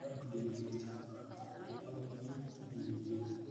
Nidaamka diiwaangelinta wuxuu u baahan yahay in lagu wanaajiyo tignoolajiyada.